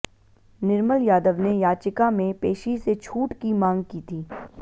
निर्मल यादव ने याचिका में पेशी से छूट की मांग की थी